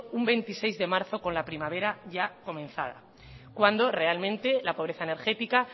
un veintiséis de marzo con la primavera ya comenzada cuando realmente la pobreza energética